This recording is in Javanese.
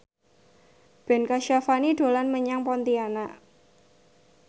Ben Kasyafani dolan menyang Pontianak